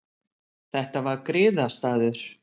Þetta var griðastaður.